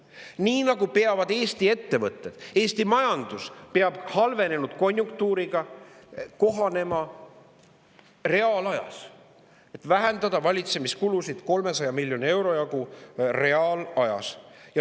Nii nagu peavad Eesti ettevõtted ja Eesti majandus halvenenud konjunktuuriga kohanema reaalajas, siis vähendama valitsemiskulusid 300 miljoni euro jagu ka reaalajas.